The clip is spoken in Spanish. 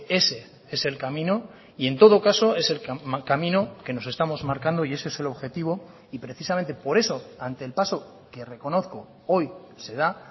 ese es el camino y en todo caso es el camino que nos estamos marcando y ese es el objetivo y precisamente por eso ante el paso que reconozco hoy se da